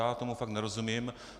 Já tomu fakt nerozumím.